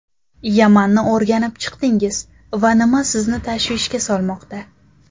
Yamanni o‘rganib chiqdingiz va nima sizni tashvishga solmoqda?